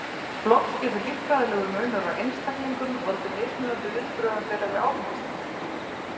Loks getur líffræðilegur munur á einstaklingum valdið mismunandi viðbrögðum þeirra við áfengisneyslu.